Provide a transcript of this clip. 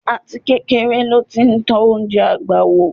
Àtikékeré ló ti tọ́ oúnjẹ àgbà wò.